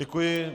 Děkuji.